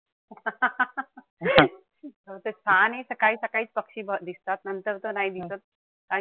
छान ए सकाळी सकाळी पक्षी दिसतात नंतर तर नाई दिसत.